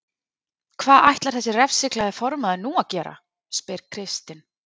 Hvað ætlar þessi refsiglaði formaður að gera nú? spyr Kristinn.